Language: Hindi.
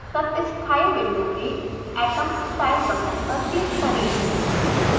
तत्स्थानी विंडो में atom style button पर क्लिक करें